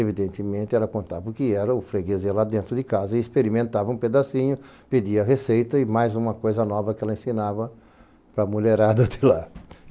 Evidentemente, ela contava o que era o freguês lá dentro de casa e experimentava um pedacinho, pedia a receita e mais uma coisa nova que ela ensinava para a mulherada de lá.